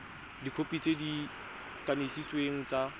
dikhopi tse di kanisitsweng tsa